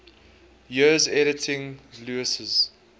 years editing lewes's